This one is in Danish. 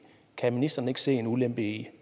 kan ministeren ikke se ulempen i